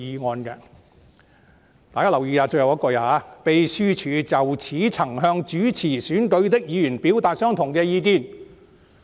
"大家要留意最後一句："秘書處就此亦曾向主持選舉的議員表達相同的意見。